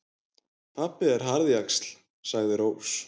Pabbi er harðjaxl, sagði Rós.